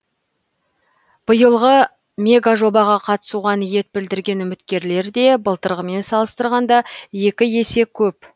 биылғы мегажобаға қатысуға ниет білдірген үміткерлер де былтырғымен салыстырғанда екі есе көп